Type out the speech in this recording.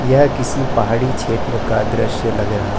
यह किसी पहाड़ी क्षेत्र का दृश्य लग रहा--